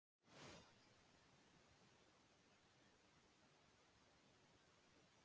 Einmitt vegna þess er erfitt að svara þeirri spurningu hversu gamalt slangur sé í málinu.